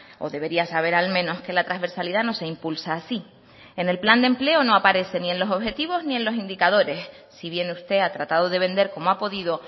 o debería saber al menos que la transversalidad no se impulsa así en el plan de empleo no aparece ni en los objetivos ni en los indicadores si bien usted ha tratado de vender como ha podido